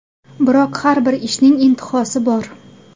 Biroq har bir ishning intihosi bor.